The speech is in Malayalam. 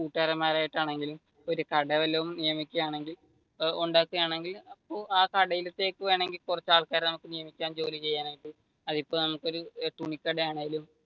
കൂട്ടുകാരൻമാരായിട്ട് ആണെങ്കിലും ഒരു കട വല്ലോം നിര്മിക്കുകയാണെങ്കിൽ ഉണ്ടാകുകയാണെങ്കിൽ ആ കടയിലത്തേക്ക് വേണമെങ്കിൽ കുറച്ചു ആൾക്കാരെ നിയമിക്കാം ജോലി ചെയ്യാനായിട്ട് അതിപ്പോ നമുക്ക് ഒരു തുണിക്കട ആണെങ്കിലും,